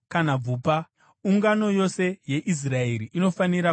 Ungano yose yeIsraeri inofanira kuipemberera.